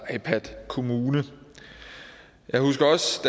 ipadkommune jeg husker også